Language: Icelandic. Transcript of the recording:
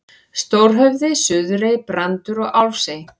Stórhöfði, Suðurey, Brandur og Álfsey.